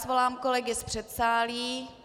Svolám kolegy z předsálí.